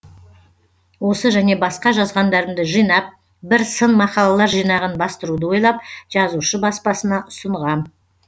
осы және басқа жазғандарымды жинап бір сын мақалалар жинағын бастыруды ойлап жазушы баспасына ұсынғам